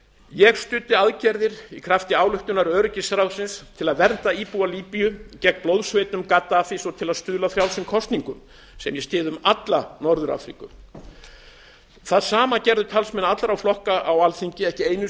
ég studdi aðgerðir í krafti ályktunar öryggisráðsins til að vernda íbúa líbíu gegn blóðsveitum gaddafís og til að stuðla að frjálsum kosningum sem ég styð um alla norður afríku það sama gerðu talsmenn allra flokka á alþingi ekki einu